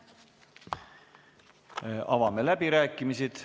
Avame läbirääkimised.